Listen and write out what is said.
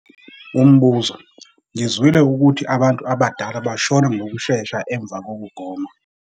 Umbuzo- Ngizwile ukuthi abantu abadala bashona ngokushesha emva kokugoma.